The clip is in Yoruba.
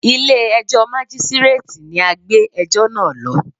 Ilé ẹjọ́ Mágístíréètì ni a gbé ẹjọ́ náà lọ.